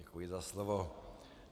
Děkuji za slovo.